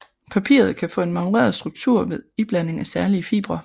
Papiret kan få en marmoreret struktur ved iblanding af særlige fibre